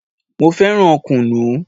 Mo fẹ́ràn kunu